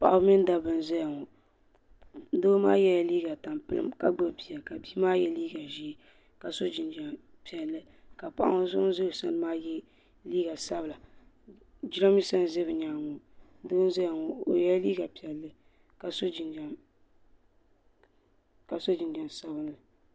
Paɣaba mini dabba n zaya ŋɔ doo maa ye la liiga tampilim ka gbubi bia ka bia maa ye liiga zɛɛ ka so jinjam piɛlli ka paɣa so ŋuni za o sani maa ye liiga sabila jiranbesa n za bi yɛanga ŋɔ doo n zaya ŋɔ o yɛla liiga piɛlli ka so jinjam sabinli.